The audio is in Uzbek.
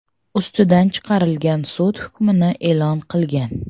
ustidan chiqarilgan sud hukmini e’lon qilgan.